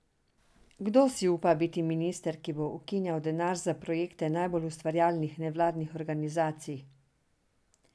Kdo si upa biti minister, ki bo ukinjal denar za projekte najbolj ustvarjalnih nevladnih organizacij?